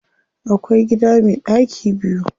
Akwai gida me ɗaki biyu.